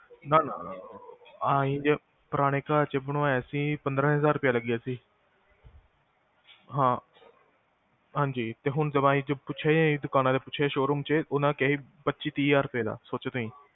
ਨਾ ਨਾ, ਅਸੀਂ ਪੁਰਾਣੇ ਘਰ ਚ ਬਣਵਾਇਆ ਸੀ ਪੰਦਰਾਂ ਹਜਾਰ ਰੁਪਈਆ ਲੱਗਿਆ ਸੀ ਤੇ ਹੁਣ ਅਸੀਂ ਪੁੱਛਿਆ ਦੁਕਾਨਾਂ ਚ ਪੁੱਛਿਆ ਸ਼ੋਰੂਮ ਚ ਪੱਚੀ ਤੀਹ ਹਜ਼ਾਰ ਰੁਪਈਆ ਚ, ਸੋਚੋ ਤੁਸੀਂ